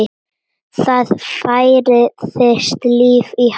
Það færðist líf í Halla.